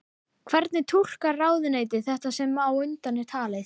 Hvernig túlkar ráðuneytið þetta sem á undan er talið?